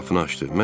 O qapını açdı.